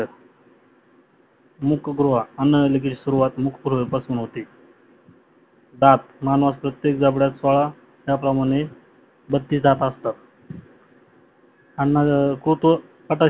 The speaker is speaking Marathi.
मुखगृह अन्ननालिकेची सुरवात मुखगृह पासून होते. दात मानवाच्या प्रतेक जाबडात त्या प्रमाणे दात असतात अन्न कुठे